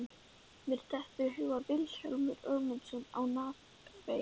Mér dettur í hug Vilhjálmur Ögmundsson á Narfeyri.